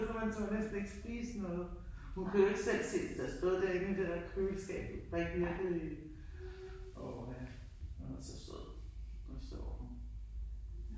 Så man turde næsten ikke spise noget. Hun kunne jo ikke selv se, hvis det havde stået derinde i det der køleskab rigtig rigtig åh ja hun var så sød nu sover hun ja